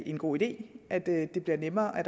en god idé at det bliver nemmere at